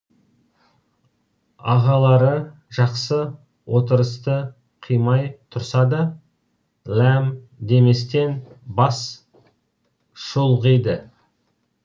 ағалары жақсы отырысты қимай тұрса да ләм деместен бас шұлғиды